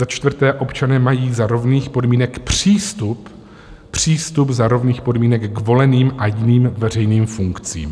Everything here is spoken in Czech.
Za čtvrté, občané mají za rovných podmínek přístup, přístup za rovných podmínek k voleným a jiným veřejným funkcím.